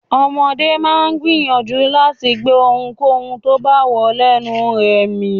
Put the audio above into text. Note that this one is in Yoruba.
Ọmọdé máa ń gbìyànjú láti gbé ohunkóhun tó bá wọ lẹnu rẹ̀ mì.